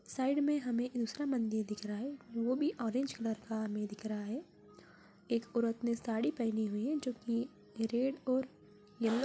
side में हमें दूसरा मंदिर दिख रहा है वह भी ऑरेंज कलर का हमें दिख रहा है एक औरत ने साड़ी पहनी हुई है जो कि रेड और येलो--